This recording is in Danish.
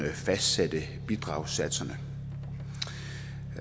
at fastsætte bidragssatserne